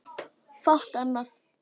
Fátt annað.